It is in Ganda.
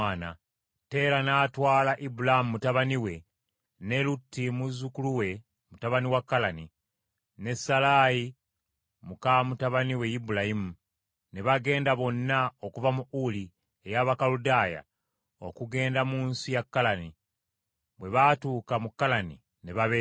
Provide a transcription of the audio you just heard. Teera n’atwala Ibulaamu mutabani we Lutti muzzukulu we mutabani wa Kalani, ne Salaayi muka mutabani we Ibulaamu, ne bagenda bonna okuva mu Uli eky’Abakaludaaya okugenda mu nsi ya Kalani; bwe baatuuka mu Kalani, ne babeera omwo.